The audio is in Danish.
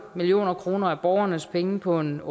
million kroner af borgernes penge på en